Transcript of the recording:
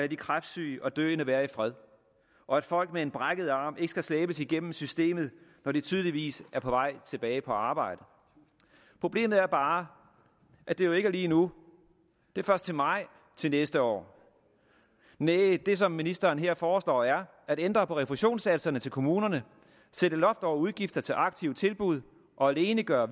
de kræftsyge og døende være i fred og at folk med en brækket arm ikke skal slæbes igennem systemet når de tydeligvis er på vej tilbage på arbejde problemet er bare at det jo ikke er lige nu det er først til maj til næste år næh det som ministeren her foreslår er at ændre på refusionssatserne til kommunerne sætte loft over udgifter til aktive tilbud og alene gøre